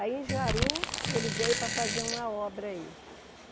Aí, em Jaru, ele veio para fazer uma obra aí.